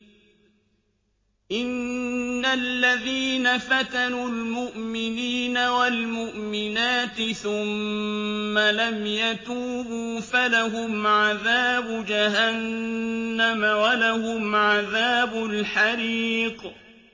إِنَّ الَّذِينَ فَتَنُوا الْمُؤْمِنِينَ وَالْمُؤْمِنَاتِ ثُمَّ لَمْ يَتُوبُوا فَلَهُمْ عَذَابُ جَهَنَّمَ وَلَهُمْ عَذَابُ الْحَرِيقِ